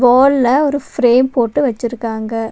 வால்ல ஒரு பிரேம் போட்டு வெச்சுருக்காங்க.